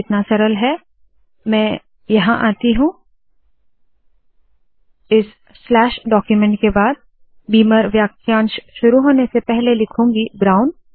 तो मैं क्या करती हूँ के यहाँ आती हूँ इस स्लैश डाक्यूमेन्ट के बाद बीमर वाक्यांश शुरू होने से पहले लिखूंगी ब्राउन